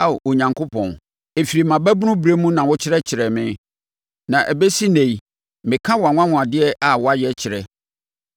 Ao Onyankopɔn, ɛfiri mʼababunu berɛ na wokyerɛkyerɛɛ me, na ɛbɛsi ɛnnɛ yi, meka wʼanwanwadeɛ a woayɛ kyerɛ.